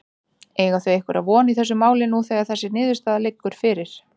Eiga þau einhverja von í þessu máli nú þegar þessi niðurstaða liggur fyrir?